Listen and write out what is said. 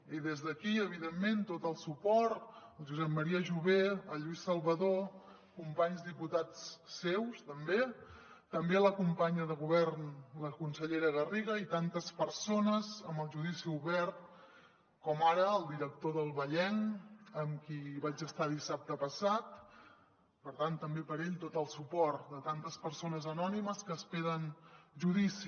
i des d’aquí evidentment tot el suport a josep maria jové a lluís salvadó companys diputats seus també també a la companya de govern la consellera garriga i a tantes persones amb el judici obert com ara al director d’el vallenc amb qui vaig estar dissabte passat per tant també per a ell tot el suport a tantes persones anònimes que esperen judici